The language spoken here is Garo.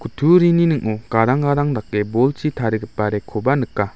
kutturini ning·o gadang gadang dake bolchi tarigipa rack-koba nika.